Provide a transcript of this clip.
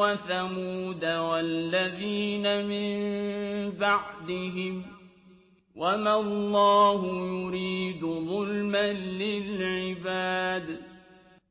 وَثَمُودَ وَالَّذِينَ مِن بَعْدِهِمْ ۚ وَمَا اللَّهُ يُرِيدُ ظُلْمًا لِّلْعِبَادِ